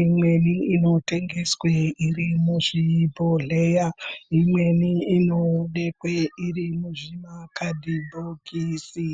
imweni inotengeswa irimuzvibhohleya Imwnei inobekwa iri muzvikadhibhokisi.